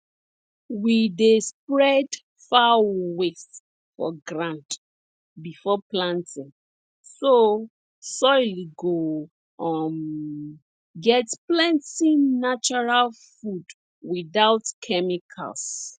we dey spread fowl waste for ground before planting so soil go um get plenti natural food without chemicals